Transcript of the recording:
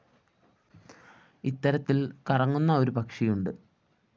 ഇത്തരത്തില്‍ കറങ്ങുന്ന ഒരു പക്ഷിയുണ്ട്